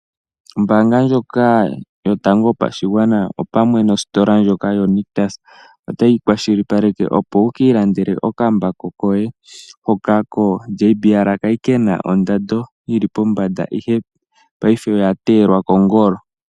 Ombaanga ndjoka yotango yopashigwana, opamwe nositola ndjoka yoNictus otayi kwashilipaleke opo wu ki ilandele okambako koye , hoka koJBL kali kena ondando yili pombanda ihe paife oya teelwa kongolo.